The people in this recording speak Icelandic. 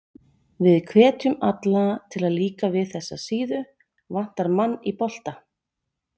Við hvetjum alla til að líka vel við þessa síðu, Vantar mann í bolta?